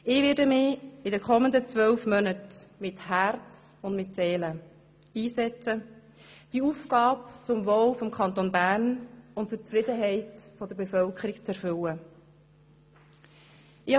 Ich werde mich in den kommenden zwölf Monaten mit Herz und Seele einsetzen, diese Aufgabe zum Wohl des Kantons Bern und zur Zufriedenheit der Bevölkerung zu erfüllen.